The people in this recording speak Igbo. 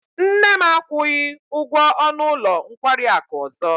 Nne m akwụghị ụgwọ ọnụ ụlọ nkwari akụ ọzọ.